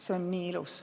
" See on nii ilus.